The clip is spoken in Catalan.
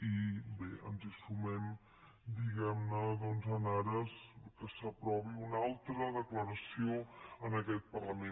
i bé ens hi sumem diguem ne doncs en ares que s’aprovi una altra declaració en aquest parlament